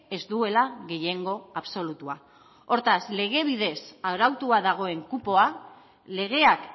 ez duela gehiengo absolutua hortaz lege bidez arautua dagoen kupoa legeak